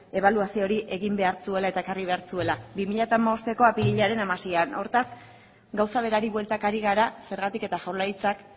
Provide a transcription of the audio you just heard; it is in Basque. ebaluazio hori egin behar zuela eta ekarri behar zuela bi mila hamabosteko apirilaren hamaseian hortaz gauza berari bueltaka ari gara zergatik eta jaurlaritzak